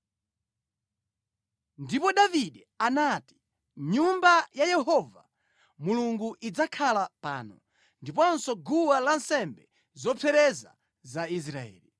Ndipo Davide anati, “Nyumba ya Yehova Mulungu idzakhala pano, ndiponso guwa lansembe zopsereza za Israeli.”